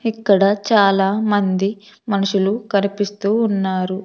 ఇక్కడ చాలా మంది మనుషులు కరిపిస్తూ ఉన్నారు.